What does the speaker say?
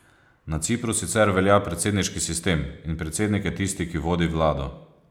Na Cipru sicer velja predsedniški sistem in predsednik je tisti, ki vodi vlado.